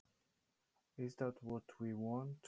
Er það það sem við viljum?